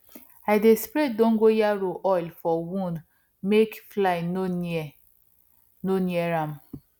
i dey spray dongoyaro oil for wound make fly no near no near am